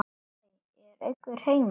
Hæ, er einhver heima?